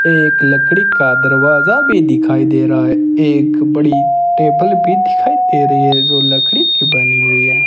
एक लकड़ी का दरवाजा भी दिखाई दे रहा है एक बड़ी टेबल भी दिखाई दे रही है जो लकड़ी की बनी हुई है।